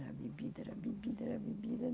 Era bebida, era bebida, era bebida.